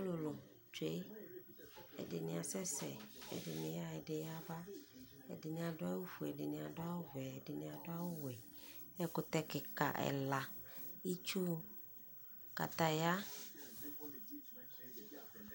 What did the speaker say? ɔlʋlʋ twɛ, ɛdini asɛsɛ ɛdini yaa ɛdi yaba, ɛdini adʋ awʋ ƒʋɛ ɛdibi adʋ awʋ vɛ ɛdini adʋ awʋ wɛ, ɛkʋtɛ kikaa ɛla, itsʋ kataya